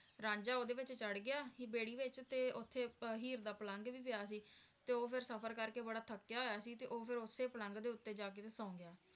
ਰਾਂਝਾ ਓਹਦੇ ਵਿਚ ਚੜ੍ਹ ਗਿਆ ਬੇੜੀ ਵਿਚ ਤੇ ਓਥੇ ਹੀਰ ਦਾ ਪਲੰਘ ਵੀ ਪਿਆ ਸੀ ਤੇ ਉਹ ਫਰ ਸਫ਼ਰ ਕਰਕੇ ਬੜਾ ਥੱਕਿਆ ਹੋਇਆ ਸੀ ਤੇ ਉਹ ਫੇ ਓਥੇ ਹੀ ਪਲੰਘ ਦੇ ਉੱਪਰ ਜਾ ਕੇ ਹੀ ਫਰ ਸੋ ਗਿਆ